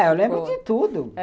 Eu lembro de tudo.